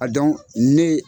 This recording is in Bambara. A dɔn ne